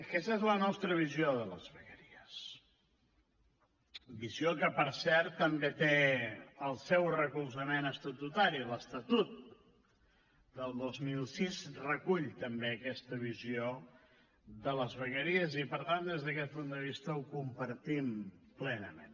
aquesta és la nostra visió de les vegueries visió que per cert també té el seu recolzament estatutari l’estatut del dos mil sis recull també aqueta visió de les vegueries i per tant des d’aquest punt de vista ho compartim plenament